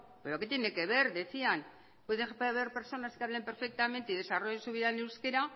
pero qué tiene que ver decían puede haber personas que hablen perfectamente y desarrolle su vida en euskera